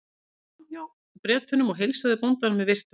Hann skaut sér fram hjá Bretunum og heilsaði bóndanum með virktum.